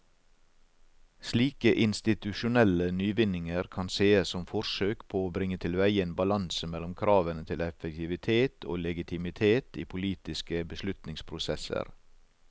Slike institusjonelle nyvinninger kan sees som forsøk på å bringe tilveie en balanse mellom kravene til effektivitet og legitimitet i politiske beslutningsprosesser.